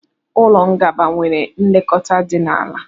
Ụlọ gbagba nwere nlekọta di ala.